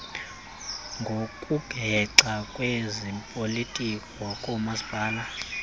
ngokuhexa kwezopolitiko koomasipala